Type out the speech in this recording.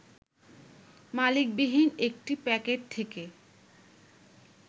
মালিকবিহীন একটি প্যাকেট থেকে